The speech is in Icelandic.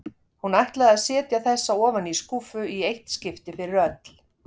Hún ætlaði að setja þessa ofan í skúffu í eitt skipti fyrir öll.